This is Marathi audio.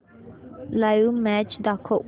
लाइव्ह मॅच दाखव